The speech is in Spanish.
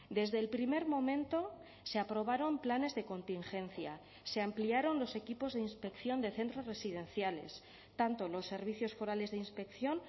desde el primer momento se aprobaron planes de contingencia se ampliaron los equipos de inspección de centros residenciales tanto los servicios forales de inspección